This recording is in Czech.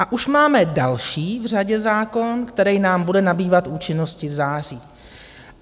A už máme další v řadě zákon, který nám bude nabývat účinnosti v září.